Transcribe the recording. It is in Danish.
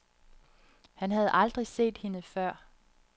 Han havde aldrig set hende før.